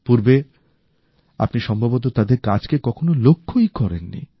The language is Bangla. এর আগে আপনি সম্ভবত তাদের কাজকে কখনো লক্ষ্যই করেন নি